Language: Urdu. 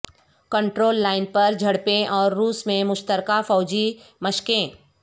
کنٹرول لائن پر جھڑپیں اور روس میں مشترکہ فوجی مشقیں